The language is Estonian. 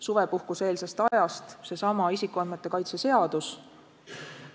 Suvepuhkuse-eelsest ajast võib näiteks tuua isikuandmete kaitse seaduse.